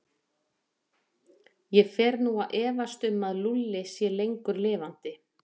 Ég fer nú að efast um að Lúlli sé lengur lifandi.